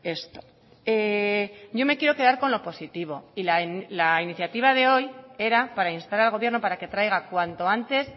esto yo me quiero quedar con lo positivo y la iniciativa de hoy era para instar al gobierno para que traiga cuanto antes